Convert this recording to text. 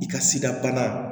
I ka sidabana